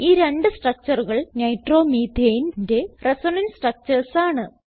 ഈ രണ്ട് structureകൾ Nitromethaneന്റെ റിസണൻസ് സ്ട്രക്ചർസ് ആണ്